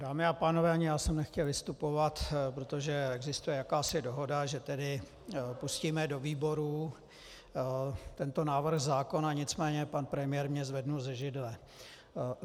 Dámy a pánové, ani já jsem nechtěl vystupovat, protože existuje jakási dohoda, že tedy pustíme do výborů tento návrh zákona, nicméně pan premiér mě zvedl ze židle.